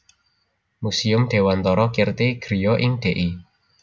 Muséum Dewantara Kirti Griya ing Dl